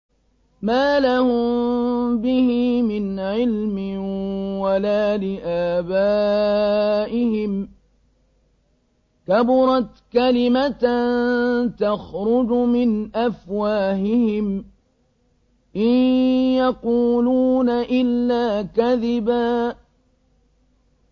مَّا لَهُم بِهِ مِنْ عِلْمٍ وَلَا لِآبَائِهِمْ ۚ كَبُرَتْ كَلِمَةً تَخْرُجُ مِنْ أَفْوَاهِهِمْ ۚ إِن يَقُولُونَ إِلَّا كَذِبًا